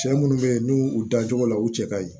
Cɛ munnu be yen n'u u dancogo la u cɛ ka ɲi